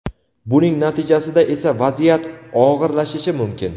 buning natijasida esa vaziyat og‘irlashishi mumkin.